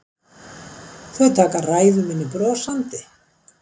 Þau taka ræðu minni brosandi.